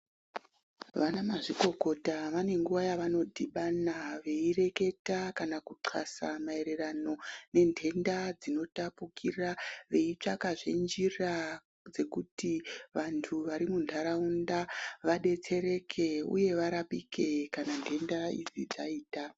Vanamazvikokota vane nguva yavanodhibana veireketa kana kuxasa maererano nentenda dzinotapukira, veitsvakazve njira dzekuti ,vantu vari muntaraunda vadetsereke uye varapike kana ntenda idzi dzaita.